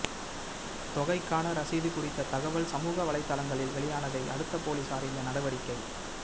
தொகைக்கான ரசீது குறித்த தகவல் சமூக வலைதளங்களில் வெளியானதை அடுத்து போலீஸார் இந்த நடவடிக்கை